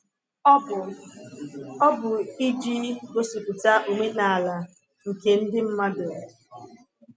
Ọ bụ Ọ bụ iji gosipụta omenala nke ndị mmadụ.